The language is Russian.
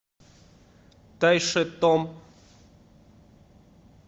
тайшетом